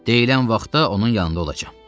Deyilən vaxtda onun yanında olacam.